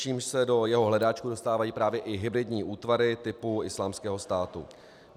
Čímž se do jeho hledáčku dostávají právě i hybridní útvary typu Islámského státu.